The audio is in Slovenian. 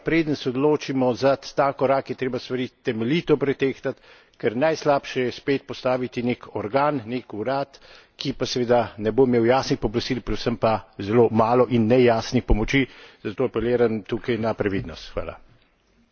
In zaradi tega preden se odločimo za ta korak, je treba stvari temeljito pretehtat, ker najslabše je spet postaviti nek organ, nek urad, ki pa seveda ne bo imel jasnih pooblastil, predvsem pa zelo malo in nejasnih pomoči, zato apeliram tukaj na previdnost.